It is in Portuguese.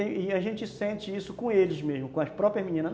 E a gente sente isso com eles mesmo, com as próprias meninas.